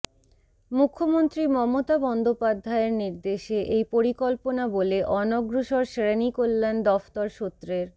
মুখ্যমন্ত্রী মমতা বন্দ্যোপাধ্যায়ের নির্দেশে এই পরিকল্পনা বলে অনগ্রসর শ্রেণিকল্যাণ দফতর সূত্রের